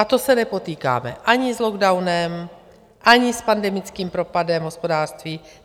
A to se nepotýkáme ani s lockdownem, ani s pandemickým propadem hospodářství.